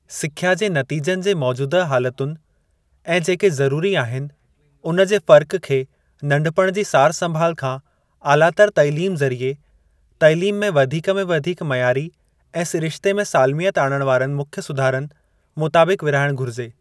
सिख्या जे नतीजनि जे मौजूदह हालतुनि ऐं जेके ज़रूरी आहिनि, उन जे फ़र्क़ खे नंढपिण जी सार संभाल खां आलातर तइलीम ज़रिए तइलीम में वधीक में वधीक मयारी ऐं सिरिश्ते में सालिमयत आणण वारनि मुख्य सुधारनि मुताबिक विरिहाइणु घुरिजे।